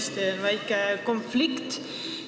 Siin on tõesti väike konflikt.